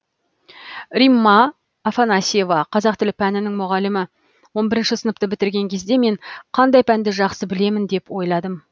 римма афанасьева қазақ тілі пәнінің мұғалімі он бірінші сыныпты бітірген кезде мен қандай пәнді жақсы білемін деп ойладым